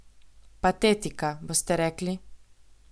Patetika, boste rekli?